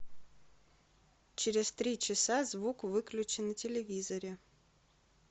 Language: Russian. через три часа звук выключи на телевизоре